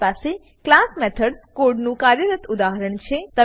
મારી પાસે class methods કોડનું કાર્યરત ઉદાહરણ છે